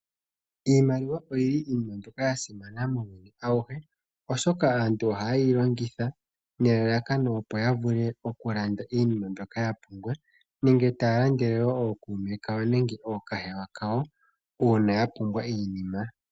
Iimaliwa iinima mbyoka yasimana muuyuni awuhe oshoka aantu ohaye yi longitha nelalakano opo ya vule oku landa iinima mbyoka ya pumbwa. Nenge taya landele woo ookuume kawo nenge ookahewa kawo uuna yapumbwa iinima.